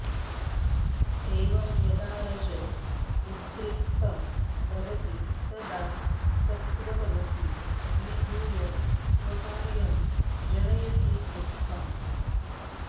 एवं यदा रज उद्रिक्तं भवति तदा सत्त्वतमसी अभिभूय स्वकार्यं जनयति दुःखम्